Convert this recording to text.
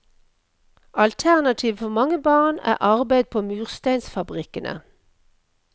Alternativet for mange barn er arbeid på mursteinsfabrikkene.